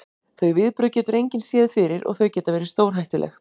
Þau viðbrögð getur engin séð fyrir og þau geta verið stórhættuleg.